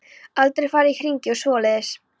Aldrei farið í hringi og svoleiðis.